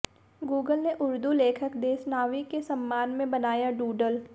Google ने उर्दू लेखक देसनावी के सम्मान में बनाया डूडल